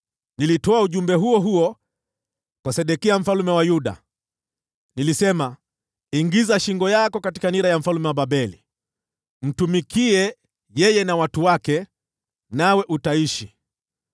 Nilitoa ujumbe huo huo kwa Sedekia mfalme wa Yuda. Nilisema, “Ingiza shingo yako katika nira ya mfalme wa Babeli, umtumikie yeye na watu wake, nawe utaishi.